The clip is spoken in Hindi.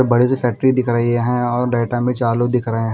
बड़े से फैक्ट्री दिख रही हैं और डाटा में चार लोग दिख रहे हैं।